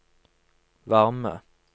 varme